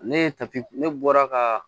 Ne ye ne bɔra ka